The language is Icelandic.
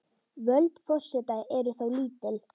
Völd forseta eru þó lítil.